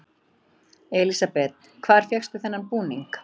Elísabet: Hvar fékkstu þennan búning?